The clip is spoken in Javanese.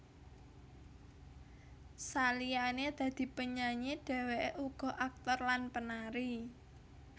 Saliyane dadi penyanyi dheweke uga aktor lan penari